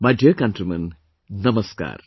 My dear countrymen, Namaskar